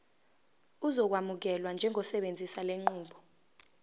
uzokwamukelwa njengosebenzisa lenqubo